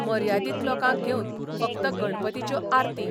मर्यादीक लोकांक घेवन फक्त गणपतीच्यो आरती.